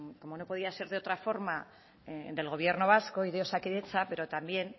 como no podía ser de otra forma del gobierno vasco y de osakidetza pero también